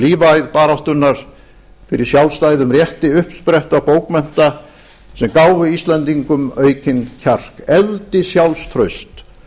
lífæð baráttunnar fyrir sjálfstæðum rétti uppspretta bókmennta sem gáfu íslendingum aukinn kjark efldi sjálfstraust